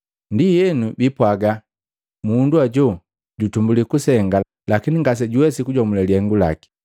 Ndienu biipwaaga, ‘Mundu hoju jutumbulii kusenga, lakini ngasejawesiki kujomulile lihengu laki.’